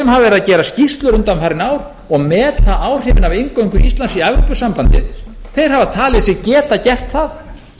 að gera skýrslur undanfarin ár og meta áhrifin af inngöngu íslands í evrópusambandið hafa talið sig geta gert það